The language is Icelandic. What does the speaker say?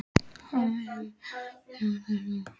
Hafið þið metið hversu mikið tjón þarna er?